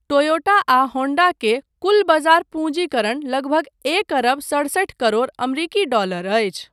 Toyota आ Honda के कुल बजार पूँजीकरण लगभग एक अरब सड़सठि करोड़ अमरीकी डॉलर अछि।